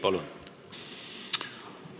Palun!